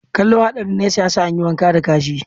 Kallo hadarin nesa, ya sa an yi wanka da kashi.